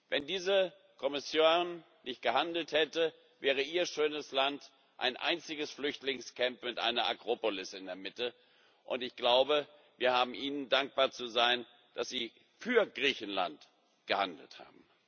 Wenn diese Kommission nicht gehandelt hätte, wäre Ihr schönes Land ein einziges Flüchtlingscamp mit einer Akropolis in der Mitte, und ich glaube, wir haben Ihnen dankbar zu sein, dass sie für Griechenland gehandelt hat.